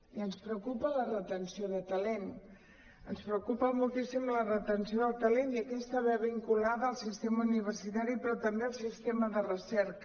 i ens preocupa la retenció de talent ens preocupa moltíssim la retenció del ta·lent i aquesta va vinculada al sistema universitari però també el sistema de recerca